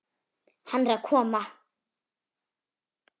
Hann er að koma!